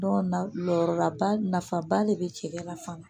Dɔw nayɔrɔ la ba nafaba de be cɛ la fana